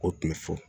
O tun bɛ fɔ